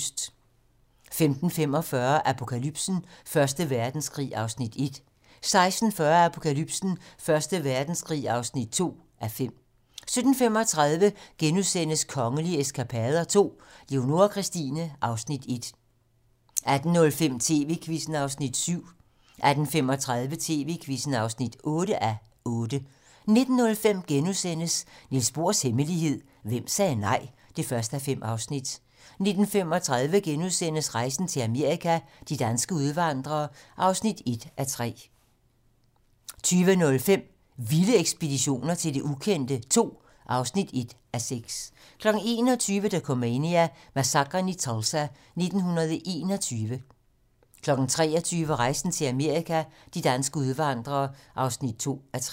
15:45: Apokalypsen: Første Verdenskrig (1:5) 16:40: Apokalypsen: Første Verdenskrig (2:5) 17:35: Kongelige eskapader II - Leonora Christina (Afs. 1)* 18:05: TV-Quizzen (7:8) 18:35: TV-Quizzen (8:8) 19:05: Niels Bohrs hemmelighed: Hvem sagde nej? (1:5)* 19:35: Rejsen til Amerika – de danske udvandrere (1:3)* 20:05: Vilde ekspeditioner til det ukendte II (1:6) 21:00: Dokumania: Massakren i Tulsa 1921 23:00: Rejsen til Amerika - de danske udvandrere (2:3)